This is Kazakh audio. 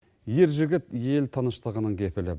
ер жігіт ел тыныштығының кепілі